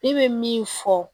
Ne bɛ min fɔ